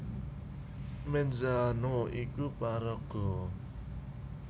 Menzano iku paraga